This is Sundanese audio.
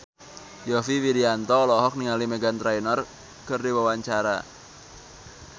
Yovie Widianto olohok ningali Meghan Trainor keur diwawancara